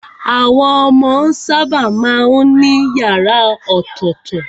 Àwọn ọmọ sábà má ń ní yàrá ọ̀tọ̀tọ̀.